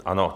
Ano.